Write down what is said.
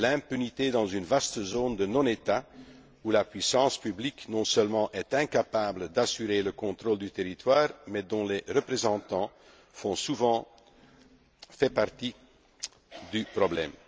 l'impunité dans une vaste zone de non État, où la puissance publique non seulement est incapable d'assurer le contrôle du territoire mais dont les représentants font souvent partie du problème.